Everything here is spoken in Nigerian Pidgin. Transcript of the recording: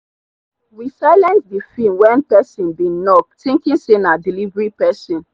we silent the film when person bin knock thinking say na delivery person.